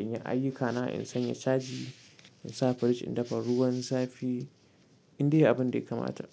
in yi ayyukana, in sanya caji, in sa firij, in dafa ruwan zafi, indai abin da ya kamata.